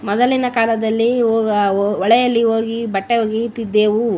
ಮೊದಲಿನ ಕಾಲದಲ್ಲಿ ಹೊ ಹೊಳೆಯಲ್ಲಿ ಹೋಗಿ ಬಟ್ಟೆ ಒಗೆಯುತ್ತಿದ್ದೆವು --